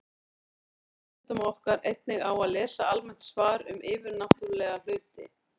Við bendum lesendum okkar einnig á að lesa almennt svar um yfirnáttúrulega hluti.